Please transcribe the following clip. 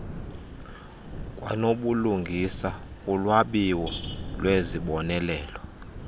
kwanobulungisa kulwabiwo lwezibonelelo